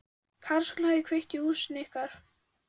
Karlsson hefði kveikt í húsinu ykkar.